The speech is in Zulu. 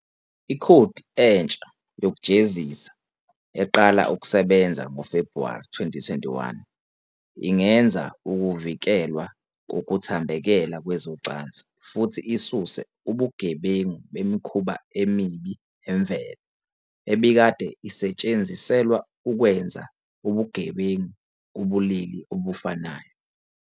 Ikhodi entsha yokujezisa eqala ukusebenza ngoFebhuwari 2021 ingeza ukuvikelwa kokuthambekela kwezocansi futhi isuse ubugebengu "bemikhuba emibi nemvelo", ebikade isetshenziselwa ukwenza ubugebengu ubulili obufanayo.